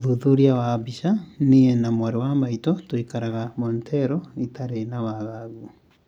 ũthuthuria wa mbica:Nie na mwarĩ wa maitũ tuikaaraga Montreal nditarĩ na wagagu